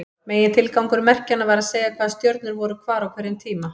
Megintilgangur merkjanna var að segja hvaða stjörnur voru hvar á hverjum tíma.